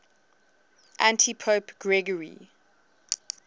antipope gregory